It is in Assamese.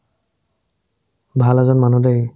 ভাল এজন মানুহ দেই